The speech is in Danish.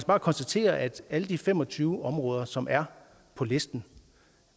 bare konstatere at alle de fem og tyve områder som er på listen